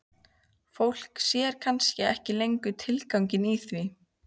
Fólk sér kannski ekki lengur tilganginn í því.